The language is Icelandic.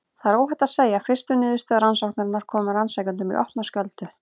Það er óhætt að segja að fyrstu niðurstöður rannsóknarinnar komu rannsakendum í opna skjöldu.